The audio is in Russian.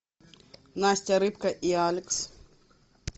настя рыбка и алекс